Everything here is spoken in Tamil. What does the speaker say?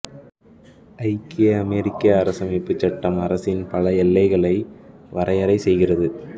ஐக்கிய அமெரிக்க அரசமைப்புச் சட்டம் அரசின் பல எல்லைகளை வரையறை செய்கிறது